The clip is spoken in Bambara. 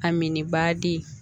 A mini baadi